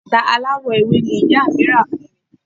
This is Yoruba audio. bàtà aláwọ̀ ewé ni ìyá mí rà fún mi